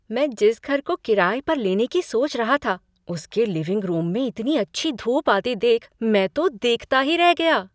मैं जिस घर को किराए पर लेने की सोच रहा था, उसके लिविंग रूम में इतनी अच्छी धूप आती देख मैं तो देखता ही रह गया।